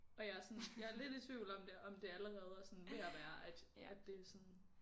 Og jeg er sådan jeg er lidt i tvivl om det om det allerede er sådan ved at være at at det sådan